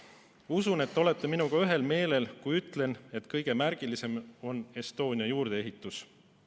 Usun, et te olete minuga ühel meelel, kui ütlen, et kõige märgilisem on Estonia juurdeehitus.